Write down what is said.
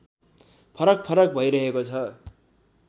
फरकफरक भइरहेको छ